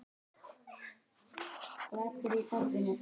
Skipti veðrið þá engu.